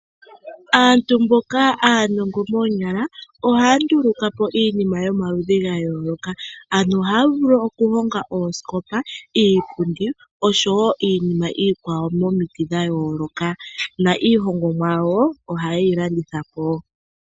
Aantu mboka aanongo noonyala ohaya ndulukapo iinima yomaludhi ga yooloka. Ano ohaya vulu oku honga oosikopa, iipundi osho woo iinima iikwawo momiti dha yooloka na iihongomwa yawo oha ye yi landithapo.